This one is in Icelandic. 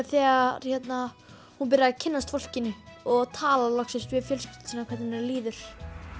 þegar hún fer að kynnast fólkinu og tala loksins við fjölskylduna sína um hvernig henni líður